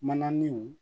Mananinw